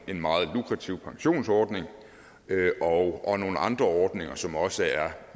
en meget lukrativ pensionsordning og nogle andre ordninger som også er